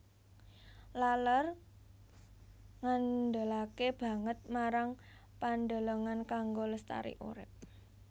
Laler ngandelaké banget marang pandelengan kanggo lestari urip